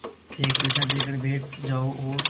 एक पैसा देकर बैठ जाओ और